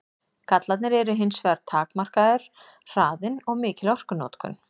Gallarnir eru hins vegar takmarkaður hraðinn og mikil orkunotkun.